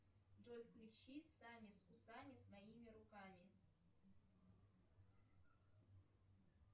джой включи сами с усами своими руками